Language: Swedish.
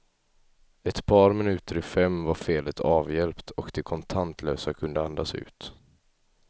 Ett par minuter i fem var felet avhjälpt, och de kontantlösa kunde andas ut.